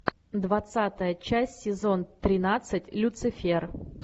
двадцатая часть сезон тринадцать люцифер